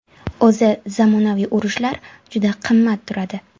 O‘zi zamonaviy urushlar juda qimmat turadi.